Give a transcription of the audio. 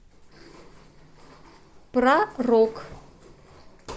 про рок